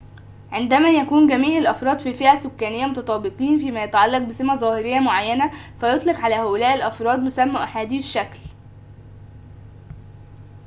عندما يكون جميع الأفراد في فئة سكانية متطابقين فيما يتعلق بسمة ظاهرية معينة فيطلق على هؤلاء الأفراد مسمى أحاديو الشكل